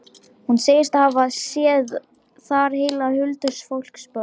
Hún segist hafa séð þar heila huldufólksborg.